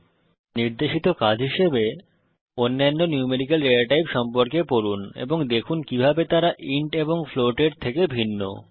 এই টিউটোরিয়ালের নির্দেশিত কাজ হিসাবে অন্যান্য ন্যূমেরিকাল ডেটা টাইপ সম্পর্কে পড়ুন এবং দেখুন কিভাবে তারা ইন্ট এবং ফ্লোট এর থেকে ভিন্ন